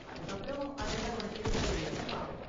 அதுக்கு அப்பறம் அதெல்லாம் உனக்கு இருக்கா இல்லயானு பார்ப்போம்.